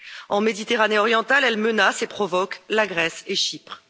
En Méditerranée orientale, elle menace et provoque la Grèce et Chypre.